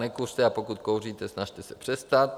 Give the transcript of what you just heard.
Nekuřte, a pokud kouříte, snažte se přestat.